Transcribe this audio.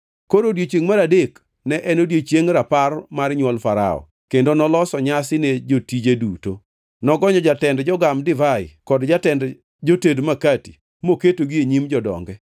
Koro odiechiengʼ mar adek ne en odiechieng rapar mar nywol Farao, kendo noloso nyasi ne jotije duto. Nogonyo jatend jogam divai kod jatend joted makati moketogi e nyim jodonge.